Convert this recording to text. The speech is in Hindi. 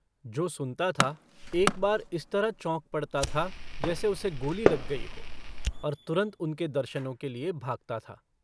जो सुनता था एक बार इस तरह चौंक पड़ता था जैसे उसे गोली लग गई हो और तुरन्त उनके दर्शनों के लिए भागता था।